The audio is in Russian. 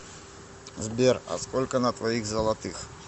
сбер а сколько на твоих золотых